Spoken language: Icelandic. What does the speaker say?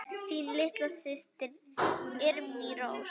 Þín litla systir, Irmý Rós.